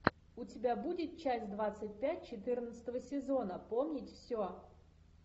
у тебя будет часть двадцать пять четырнадцатого сезона помнить все